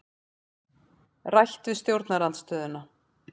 Rætt við stjórnarandstöðuna